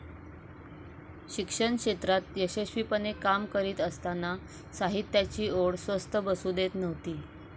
शिक्षण क्षेत्रात यशस्वीपणे काम करीत असताना साहित्याची ओढ स्वस्थ बसू देत नव्हती.